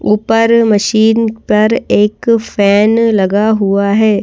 ऊपर मशीन पर एक फैन लगा हुआ है।